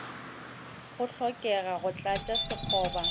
go hlokega go tlatša sekgoba